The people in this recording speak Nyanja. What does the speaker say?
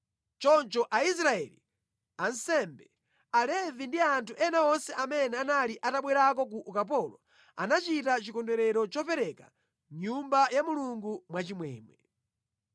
Choncho Aisraeli, ansembe, Alevi ndi anthu ena onse amene anali atabwerako ku ukapolo, anachita chikondwerero chopereka Nyumba ya Mulungu mwachimwemwe.